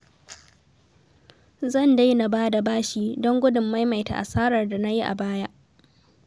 Zan daina ba da bashi don gudun maimaita asarar da na yi a baya